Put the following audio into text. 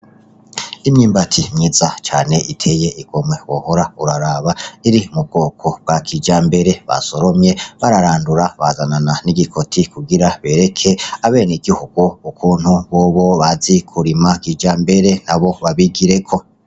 Imyumbati myiza cane iteye igomwe wohora uraraba, iri mu bwoko bwa kijambere, basoromye bararandura bazanana n'igikoti kugira bereke abeneguhugu ukuntu bobo bazi kurima.